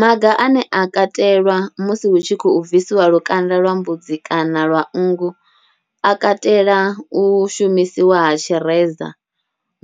Maga ane a katelwa musi hu tshi khou bvisiwa lukanda lwa mbudzi kana lwa nngu a katela u shumisiwa ha tshireza,